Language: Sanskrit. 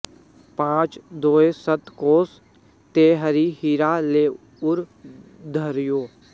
पाँच दोय सत कोस तें हरि हीरा लै उर धर्यो